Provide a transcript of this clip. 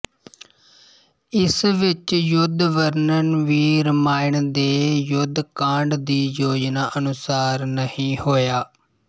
ਇਸ ਵਿਚ ਯੁੱਧਵਰਣਨ ਵੀ ਰਾਮਾਇਣ ਦੇ ਯੁੱਧਕਾਂਡ ਦੀ ਯੋਜਨਾ ਅਨੁਸਾਰ ਨਹੀਂ ਹੋਇਆ